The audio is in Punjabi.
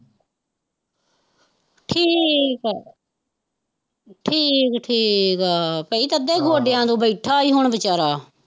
ਠੀਕ ਠੀਕ, ਠੀਕ ਆ ਭਈ ਤਦੇ ਗੋਡਿਆਂ ਤੋਂ ਬੈਠਾ ਹੀ ਹੁਣ ਵਿਚਾਰਾ।